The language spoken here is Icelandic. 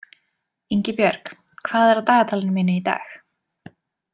Ingibjörg, hvað er á dagatalinu mínu í dag?